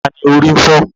Ta ni orí ń fọ́?